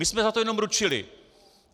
My jsme za to jenom ručili.